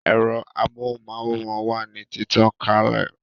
Ẹ̀rọ amóhùn máwòrán wà ní títàn kalè